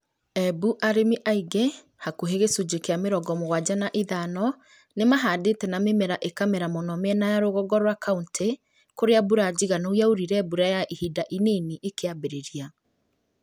Embu arĩmi aingĩ (hakũhĩ gĩcunjĩ kĩa mĩrongo mũgwanja na ithano) nimahandite na mĩmera ĩkamera muno mĩena ya rũgongo rwa kauntĩ kũrĩa mbura njiganu yaurire mbura ya ihinda inini ĩkĩambĩrĩria